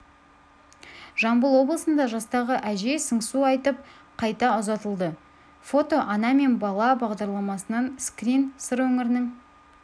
жамбыл облысында жастағы әжей сыңсу айтып қайта ұзатылды фото ана мен бала бағдарламасынан скрин сыр өңірінің